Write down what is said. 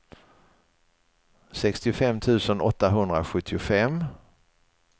sextiofem tusen åttahundrasjuttiofem